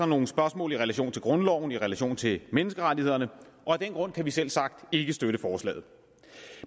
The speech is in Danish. nogle spørgsmål i relation til grundloven i relation til menneskerettighederne og af den grund kan vi selvsagt ikke støtte forslaget